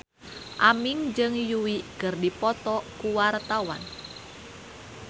Aming jeung Yui keur dipoto ku wartawan